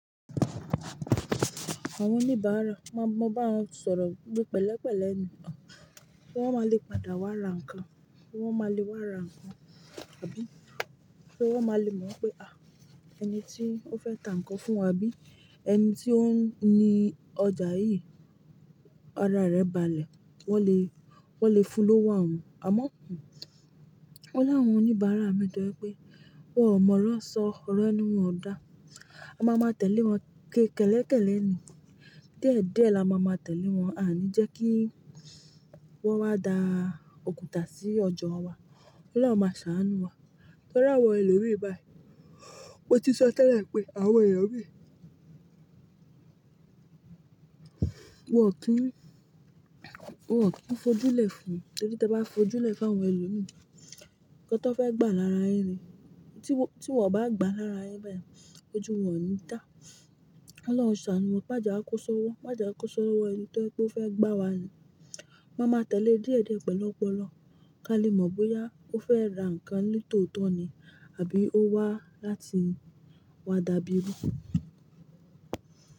Àwọn oníbàárà, má bá wọn sọ̀rọ̀ pẹ̀lẹ́pẹ̀lẹ́ ni kí wọ́n má lè padà wá ra nǹkan, kí wọ́n má lè wá ra nǹkan, àbí? Kí wọ́n má lè mọ̀ pé, "à, ẹni tí ó fẹ́ ta nǹkan fún wa bí? Ẹni tí ó ni ọjà yìí, ara rẹ̀ balẹ̀." Wọ́n lè, wọ́n lè fú lòwo awọn. Àmọ́, ọ̀la wọn oníbàárà mi to je pé, "Wọ́n ò mọ̀ oro sọ, oro ẹ́nu wọn o dá. A máa ma tẹ̀lé wọn ké kẹ̀lẹ̀kẹ̀lẹ̀ ni. Diediẹ́ la máa ma tẹ̀lé wọn, àní jẹ́ kí wọ́n wá da òkúta sí ọjà wa. Ọlọ́run máa ṣàánú wa." Torí awọn elomii báyìí, mo ti sọ tẹ́lẹ̀ pé àwọn ẹeyan mii- won ki n kò kí n fojúlẹ̀ fún, torí tí ẹ bá fojúlẹ̀ fún àwọn ẹlòmíràn, nkan tí wọ́n fẹ́ gbà lára yi ni, tí wọ́n bá gbà lára yin bayii, ojú wọn o ni dá. Ko Ọlọ́run ṣàánú wa, má jẹ́ a kó sọ wọ́, má jẹ́ a kó sọ wọ ẹni to je wipe o fe gbà wá ni. Máa ma tẹ̀lé e diẹ̀diẹ́, pẹ̀lu opolo, ká lè mọ̀ bóyá ó fẹ́ ra nǹkan ní tòótọ́ ni àbí ó wá láti wá dàbí rú.